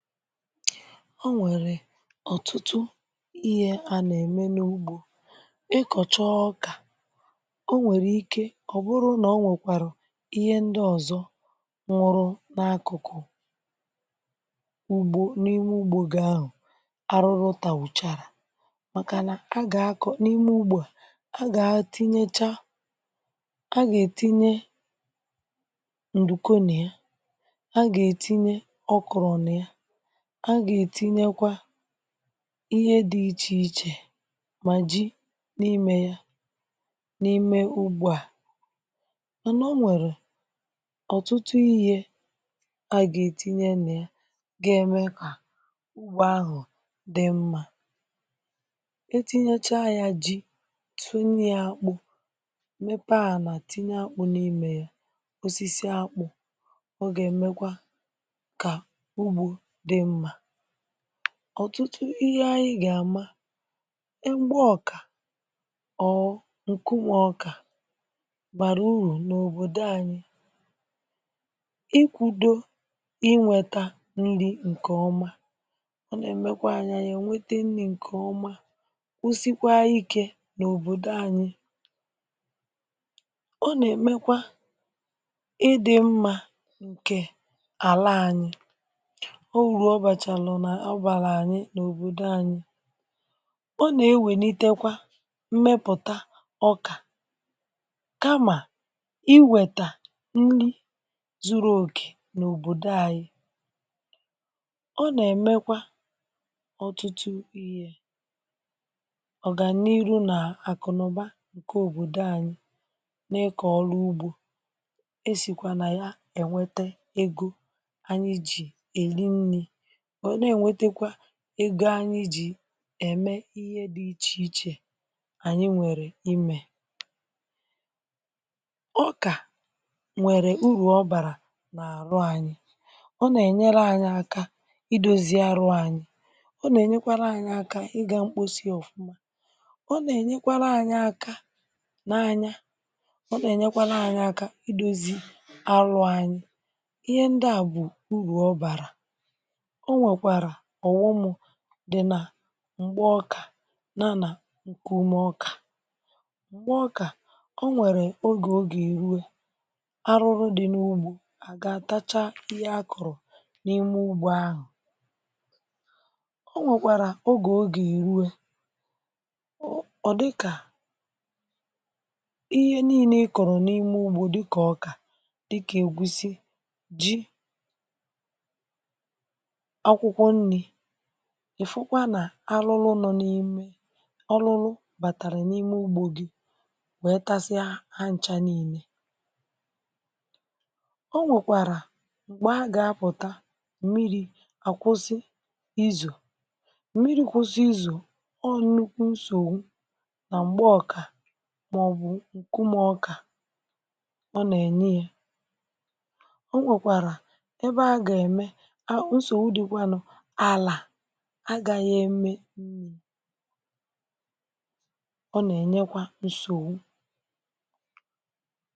O nwèrè ọ̀tụtụ ihe à nà-ème n’ugbo. Ị kọ̀chọọ ọkà o nwèrè ike ọ̀ bụrụ nà o nwèkwàrà ihe ndị ọ̀zọ nwụrụ n’akụ̀kụ̀ ugbo n’ime ugbo gị ahụ̀ arụrụ tàwụ̀chàrà màkà nà a gà-akọ̀ n’ime ugbo a gà-atinyecha a gà-ètinye ǹdùkò n'ya, a gà-ètinye ọkọrọ n'ya, a gà-ètinyekwa ihe dị̇ ichè ichè mà jị n’imè ya n’ime ugbo à. Mànà o nwèrè ọ̀tụtụ ihe a gà-ètinye nà ya ga-ème kà ugbo ahụ̀ dị mma; etinyacha ya ji tụnyị̇ ya akpụ mepee ànà tìnye akpụ n’imè ya, osisi akpụ ọ gà-èmekwa ugbo dị mma. Ọtụtụ ihe anyị gà àma egba ọkà ọ̀ọ ǹkunwọ ọkà bàrà urù n’òbòdò anyị. Ị kwùdo ịnweta nri̇ ǹkè ọma ọ nà-èmekwa anya nà ènwete nri̇ ǹkè ọma kwụsịkwa ike n’òbòdò anyị. Ọ nà-èmekwa ịdị̇ mma ǹkè àla anyị. Ọo uru ọ bachalụ ọ bààlà ànyị nà òbòdo anyị. Ọ nà-ewènitekwa mmepụ̀ta ọkà kamà iwètà nri zuru òkè n’òbòdo anyị. Ọ nà-èmekwa ọ̀tụtụ ihe ọ̀gànyiru nà àkụ̀nụ̀ba ǹkè òbòdo anyị na-ịkọ̀ ọrụ ugbo. Esìkwa nà ya ènwete ego anyị jì èli nnì, wee na-ènwetakwa ego anyị jì ème ihe dị̇ ichè ichè ànyị nwèrè imè. Ọkà ǹwèrè urù ọbàrà n’àrụ anyị ọ nà-ènyere ànyị aka idozi arụ anyị ọ nà-ènyekwara ànyị aka ịgà mkposi ọ̀fụma. Ọ nà-ènyekwara ànyị aka n’anya, ọ nà-ènyekwara ànyị aka idozi arù anyị, ihe ndịa bụ uru ọ bara. O nwekwara ọghọm dị nà m̀gbe ọkà yànà ǹkụmọkà. Mgbe ọkà o nwèrè ogè ọ ga èruwe arụrụ dị n’ugbo àgà atachaa ihe akọrọ n’ime ugbo ahụ̀. O nwèkwàrà ogè ọ ga èruwe ọ̀ ọ̀ dịkà ihe nii̇ne ị kọrọ n’ime ugbo dịkà ọkà dịkà ègwụsị, jị, akwụkwọ nni, ị̀ fụkwa nà arụrụ nọ n’ime arụrụ bàtàrà n’ime ugbo gì wèe tasịa ha ǹcha niine. O nwèkwàrà m̀gbè a gà-apụ̀ta mmiri̇ à kwụsị izo. Mmiri̇ kwụsị izo ọọ nụkwụ nsògbu nà m̀gbe ọ̀kà màọbụ̀ ǹkụmọkà ọ nà-ènye. O nwekwara ebe aga eme ya nsogbu dịkwanụ ala agaghị eme nni ọ nà-ènyekwa nsogbu.